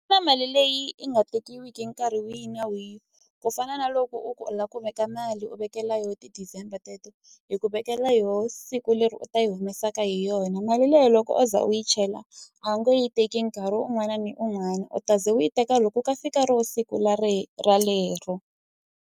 Ku na mali leyi i nga tekiwiki nkarhi wihi na wihi ku fana na loko u lava ku veka mali u vekela yo ti-December teto hi ku vekela yona siku leri u ta yi humesaka hi yona mali leyi loko o za u yi chela a wu nge yi teki nkarhi un'wana ni un'wana u ta ze u yi teka loko u ka fika ro siku leri l ralero.